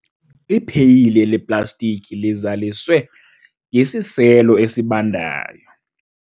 ipheyile leplastiki lizaliswe ngesiselo esibandayo